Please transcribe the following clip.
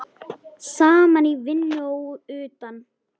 Saman í vinnu og utan.